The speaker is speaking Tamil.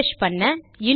ரிஃப்ரெஷ் செய்ய